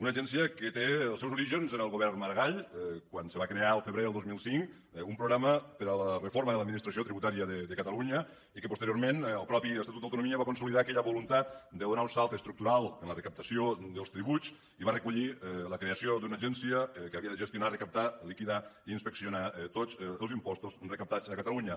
una agència que té els seus orígens en el govern maragall quan se va crear al febrer del dos mil cinc un programa per a la reforma de l’administració tributària de catalunya i que posteriorment el mateix estatut d’autonomia va consolidar aquella voluntat de donar un salt estructural en la recaptació dels tributs i va recollir la creació d’una agència que havia de gestionar recaptar liquidar i inspeccionar tots els impostos recaptats a catalunya